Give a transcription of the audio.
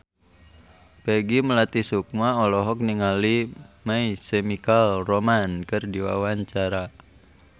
Peggy Melati Sukma olohok ningali My Chemical Romance keur diwawancara